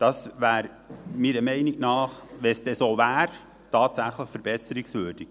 Das wäre meiner Meinung nach, wenn es dann so wäre, tatsächlich verbesserungswürdig.